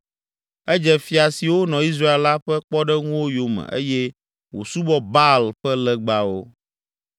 Edze fia siwo nɔ Israel la ƒe kpɔɖeŋuwo yome eye wòsubɔ Baal ƒe legbawo.